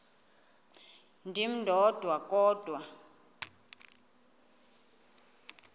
ndim ndodwa kodwa